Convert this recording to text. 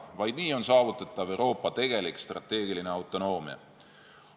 Vaid nii on saavutatav Euroopa tegelik strateegiline autonoomia.